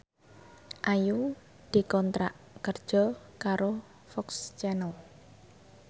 Ayu dikontrak kerja karo FOX Channel